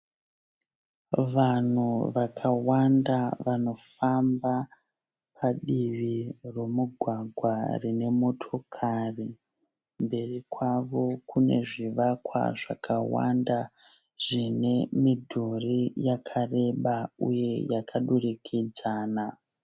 Vanhu vakawanda vanofamba padivi romugwagwa rine motokari. Mberi kwavo Kune zvivakwa zvakawanda zvine midhuri yakareba uye yakadurikidzana .